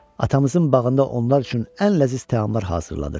Atamızın bağında onlar üçün ən ləziz təamlar hazırladır.